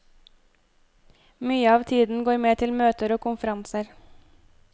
Mye av tiden går med til møter og konferanser.